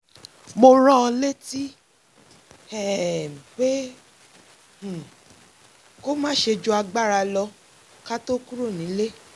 mo rán an létí um pé um kó má ṣe ju agbáralo̩ ká tó kúrò nílé